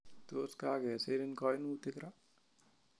Tos kakesirin kanutik ra?